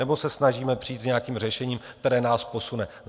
Nebo se snažíme přijít s nějakým řešením, které nás posune?